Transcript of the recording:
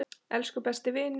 Elsku besti vinur.